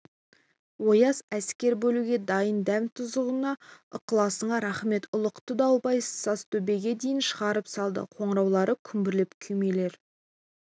ояз әскер бөлуге дайын дәм-тұзыңа ықыласыңа рақмет ұлықты дауылбай сазтөбеге дейін шығарып салды қоңыраулары күмбірлеп күймелер